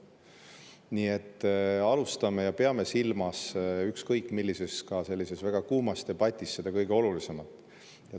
Nii et alustame ja peame silmas ükskõik millises, ka sellises väga kuumas debatis seda kõige olulisemat.